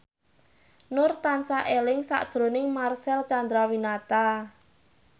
Nur tansah eling sakjroning Marcel Chandrawinata